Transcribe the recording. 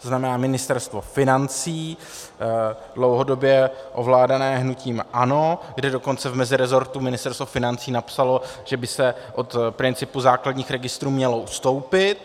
To znamená Ministerstvo financí dlouhodobě ovládané hnutím ANO, kde dokonce v mezirezortu Ministerstvo financí napsalo, že by se od principu základních registrů mělo ustoupit.